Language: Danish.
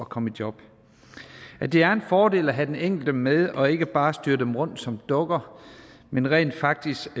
komme i job det er en fordel at have den enkelte med og ikke bare styre dem som dukker men rent faktisk